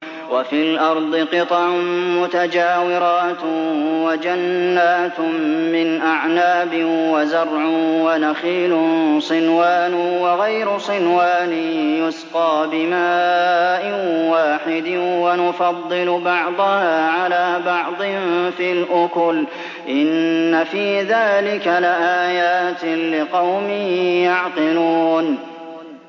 وَفِي الْأَرْضِ قِطَعٌ مُّتَجَاوِرَاتٌ وَجَنَّاتٌ مِّنْ أَعْنَابٍ وَزَرْعٌ وَنَخِيلٌ صِنْوَانٌ وَغَيْرُ صِنْوَانٍ يُسْقَىٰ بِمَاءٍ وَاحِدٍ وَنُفَضِّلُ بَعْضَهَا عَلَىٰ بَعْضٍ فِي الْأُكُلِ ۚ إِنَّ فِي ذَٰلِكَ لَآيَاتٍ لِّقَوْمٍ يَعْقِلُونَ